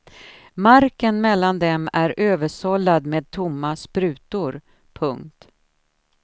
Marken mellan dem är översållad med tomma sprutor. punkt